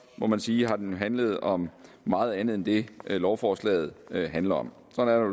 må man sige den har handlet om meget andet end det lovforslaget handler om sådan